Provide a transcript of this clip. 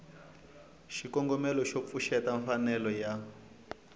xikombelo xo pfuxeta mfanelo ya